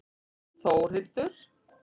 Þórhildur